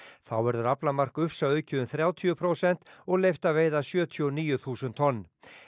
þá verður aflamark ufsa aukið um þrjátíu prósent og leyft að veiða sjötíu og níu þúsund tonn